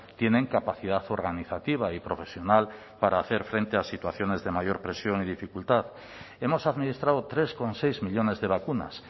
tienen capacidad organizativa y profesional para hacer frente a situaciones de mayor presión y dificultad hemos administrado tres coma seis millónes de vacunas